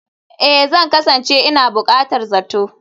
Ee, Zan kasance ina buƙatar zato